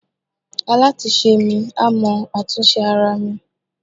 alatisẹ mi, a mọ atún sẹ aramí